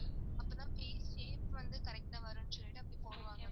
அப்போதான் shape shape வந்து correct ஆ வருணு சொல்லிட்டு அப்படி போடுவாங்க.